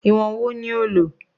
Ìwọ̀n wo ni o lò?